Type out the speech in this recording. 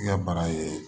I ka bana ye